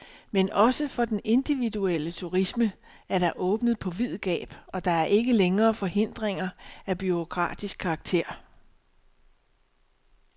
Men også for den individuelle turisme er der åbnet på vid gab, og der er ikke længere forhindringer af bureaukratisk karakter.